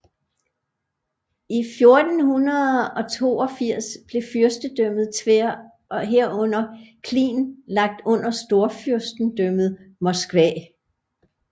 I 1482 blev fyrstedømmet Tver og herunder Klin lagt under Storfyrstendømmet Moskva